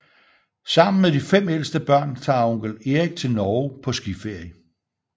Sammen med de fem ældste børn tager onkel Erik til Norge på skiferie